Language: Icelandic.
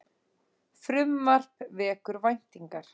Frumvarp vekur væntingar